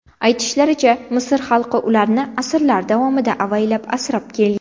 Aytishlaricha, Misr xalqi ularni asrlar davomida avaylab asrab kelgan.